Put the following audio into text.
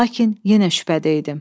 Lakin yenə şübhədəydim.